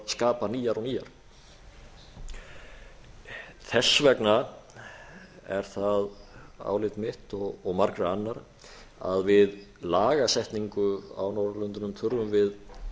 skapa nýjar og nýjar þess vegna er það álit mitt og margra annarra að við lagasetningu á norðurlöndunum þurfum við